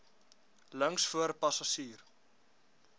links voor passasier